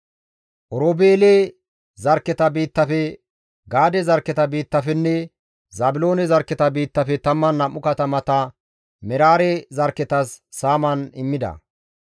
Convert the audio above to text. Oroobeele zarkketa biittafe, Gaade zarkketa biittafenne Zaabiloone zarkketa biittafe 12 katamata Meraare zarkketas saaman immida.